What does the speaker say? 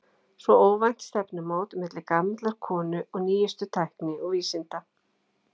Svo óvænt stefnumót milli gamallar konu og nýjustu tækni og vísinda.